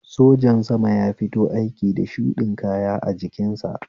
Sojan sama ya fito aiki da shuɗin kaya a jikin sa